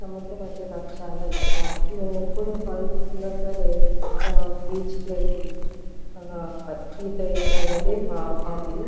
సముద్రం అంటే నాకు చాల ఇష్టము. మేము ఎప్పుడు హాలిడేస్ ఉన్న సరే బీచ్ కి వెలి ఈత వేయడం అనేది మా హాబి .